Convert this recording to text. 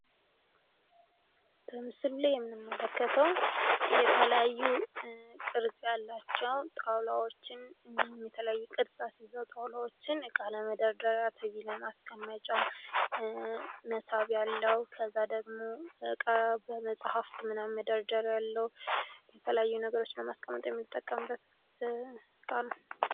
የቤት ዕቃዎች ለመኖርያ ቤቶች ምቾትና ተግባራዊነት የሚውሉ እንደ ሶፋ፣ አልጋና ጠረጴዛ ያሉ ቁሳቁሶች ሲሆኑ የቢሮ ዕቃዎች ለሥራ ምቹ ሁኔታ ይፈጥራሉ።